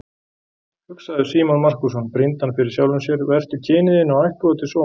Hugsaðu, Símon Markússon, brýndi hann fyrir sjálfum sér, vertu kyni þínu og ættboga til sóma!